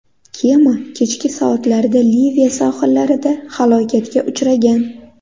Kema kechki soatlarda Liviya sohillarida halokatga uchragan.